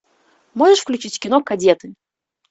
можешь включить кино кадеты